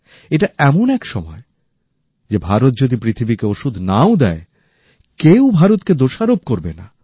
এটা এমন এক সময় যে ভারত যদি পৃথিবীকে ওষুধ নাও দেয়কেউ ভারতকে দোষারোপ করবে না